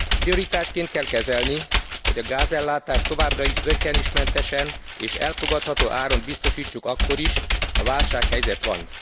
Prioritásként kell kezelni, hogy a gázellátást továbbra is zökkenőmentesen és elfogadható áron biztosítsuk akkor is, ha válsághelyzet van.